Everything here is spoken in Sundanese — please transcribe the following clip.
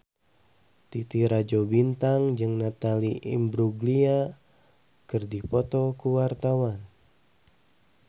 Titi Rajo Bintang jeung Natalie Imbruglia keur dipoto ku wartawan